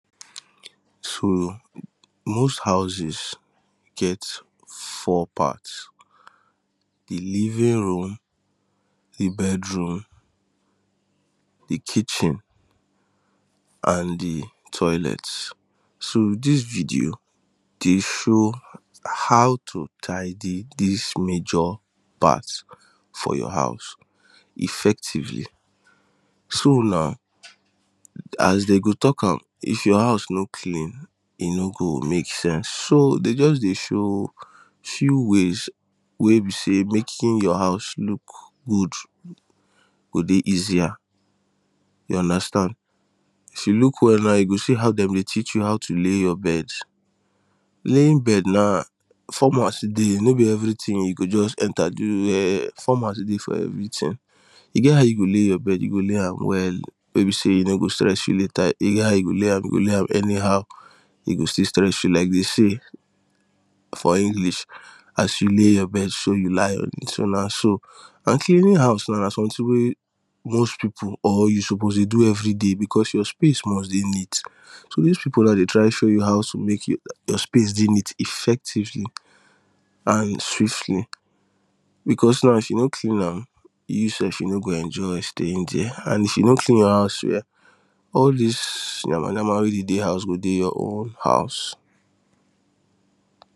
So most houses get four parts the living room the bedroom the kitchen and the toilet so this video dey show how to tidy this major part for your house effectively So now as dem go talk am if your house no clean e no go make sense so dey just dey show few ways wey be say making your house look good go dey easier you understand if you look well now you go see how dem dey teach you how to lay your bed Laying bed na format still dey no be everything you go just enter do ehh format still dey for every thing e get how you go lay your bed you go lay am well wey be say e no go stress you later e get how you go lay am you go lay am anyhow e go still stress you like they say for English as you lay your bed so you lie on it so na so and cleaning house now na something wey most people or you suppose dey do everyday because your space must dey neat so this people now dey try show you how to make your space dey neat effectively and swiftly bcos now if you no clean am you sef you no go enjoy staying there and if you no clean your house well all this yamayama wey dey dey house go dey your own house.